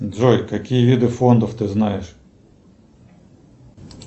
джой какие виды фондов ты знаешь